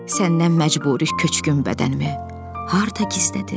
Səndən məcburi köçkün bədənimi harda gizlədim?